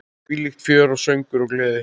Þvílíkt fjör, söngur og gleði.